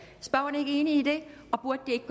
er ordføreren ikke enig i det og burde det ikke